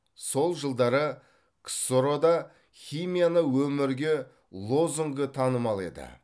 сол жылдары ксро да химияны өмірге лозунгы танымал еді